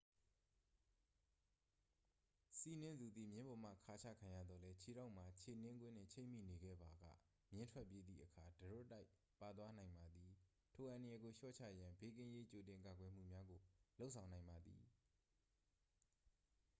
စီးနင်းသူသည် မြင်းပေါ်မှခါချခံရသော်လည်း ခြေထောက်မှာ ခြေနင်းကွင်းနှင့် ချိတ်မိနေခဲ့ပါက မြင်းထွက်ပြေးသည့်အခါ တရွတ်တိုက်ပါသွားနိုင်ပါသည် ထိုအန္တရာယ်ကိုလျှော့ချရန် ဘေးကင်းရေးကြိုတင်ကာကွယ်မှုများကို လုပ်ဆောင်နိုင်ပါသည်